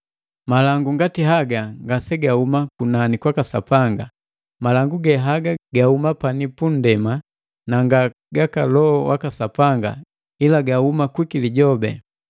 Malangu ngati haga ngasegahuma kunani kwaka Sapanga, malangu ge haga gahuma pani punndema na nga gaka Loho waka Sapanga ila gahuma kwiki lijobi.